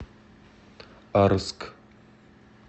арск